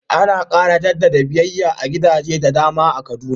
Ana ƙara jaddada biyayya a gidaje da dama a Kaduna